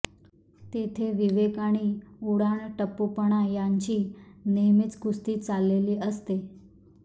तेथे विवेक आणि उडाणटप्पूपणा यांची नेहमीच कुस्ती चाललेली असते